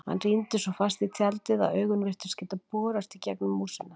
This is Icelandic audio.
Hann rýndi svo fast í tjaldið að augun virtust geta borast í gegnum músina.